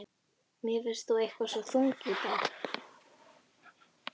Mér finnst þú eitthvað svo þung í dag.